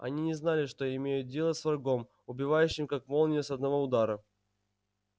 они не знали что имеют дело с врагом убивающим как молния с одного удара